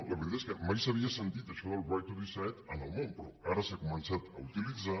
la veritat és que mai s’havia sentit això del right to decide en el món però ara s’ha començat a utilitzar